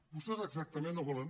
vostès exactament no volen